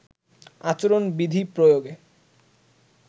আচরণ বিধি প্রয়োগে